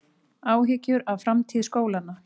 Áhyggjur af framtíð skólanna